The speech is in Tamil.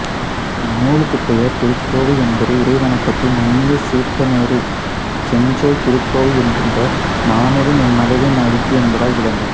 இந்நூலுக்குப் பெயர் திருக்கோவை என்பது இறைவணக்கத்தில் நண்ணியசீர்த் தேனூறு செஞ்சொல் திருக்கோவை என்கின்ற நானூறும் என்மனத்தே நல்கு என்பதால் விளங்கும்